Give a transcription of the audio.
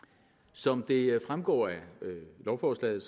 som det fremgår af lovforslaget